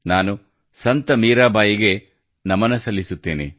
ನಾನು ಸಂತ ಮೀರಾಬಾಯಿಗೆ ನಮನ ಸಲ್ಲಿಸುತ್ತೇನೆ